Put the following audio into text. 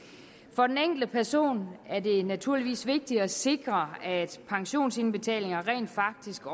for den enkelte person er det naturligvis vigtigt at sikre at pensionsindbetalinger rent faktisk går